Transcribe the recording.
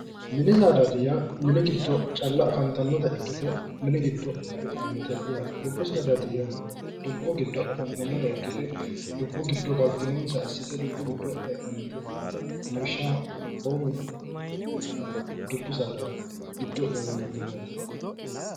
mini saadaati yaa mini giddo calla afantannota ikkite mini giddo afantanno dubbu saadaati yaa dubbu giddo galtinonsa assite dubbu giddo heedhanno lawishshaho amboomi yeedaala dubbu saadaati giddo gaamamanno yaate.